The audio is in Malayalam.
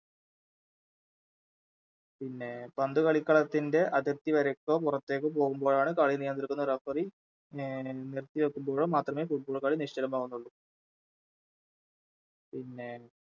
പിന്നെ പന്ത് കളിക്കളത്തിൻറെ അതിർത്തിവരക്കോ പുറത്തേക്കോ പോകുമ്പാഴാണ് കളി നിയന്ത്രിക്കുന്ന Referee എ നിർത്തിവെക്കുമ്പോഴോ മാത്രമേ Football കളി നിശ്ചലമാകുന്നുള്ളു പിന്നെ